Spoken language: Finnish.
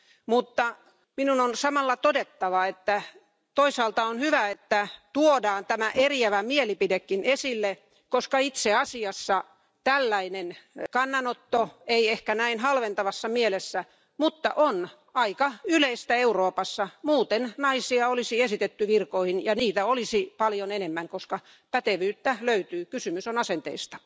Mutta minun on samalla todettava, että toisaalta on hyvä, että tuodaan tämä eriävä mielipidekin esille, koska itseasiassa tällainen kannanotto vaikkakaan ei ehkä näin halventavassa mielessä on aika yleistä Euroopassa, muuten naisia olisi esitetty virkoihin ja heitä olisi paljon enemmän, koska pätevyyttä löytyy kysymys on asenteista.